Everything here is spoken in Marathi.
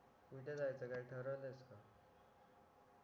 कुठे जायचा काय ठरवलंयस का